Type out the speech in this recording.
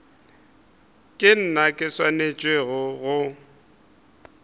ke nna ke swanetšego go